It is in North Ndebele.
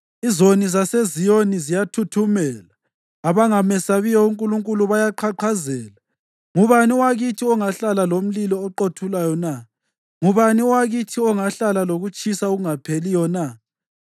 Izoni zaseZiyoni ziyathuthumela; abangamesabiyo uNkulunkulu bayaqhaqhazela: “Ngubani owakithi ongahlala lomlilo oqothulayo na? Ngubani owakithi ongahlala lokutshisa okungapheliyo na?”